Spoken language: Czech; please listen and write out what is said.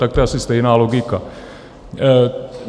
Tak to je asi stejná logika.